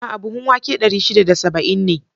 A'a! buhun wake dari shida da saba'in ne.